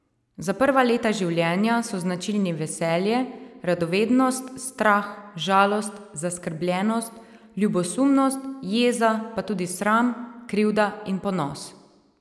Za prva leta življenja so značilni veselje, radovednost, strah, žalost, zaskrbljenost, ljubosumnost, jeza pa tudi sram, krivda in ponos.